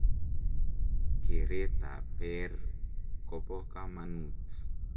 keret ab peer kobo kamanut